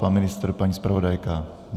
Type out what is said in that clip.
Pan ministr, paní zpravodajka.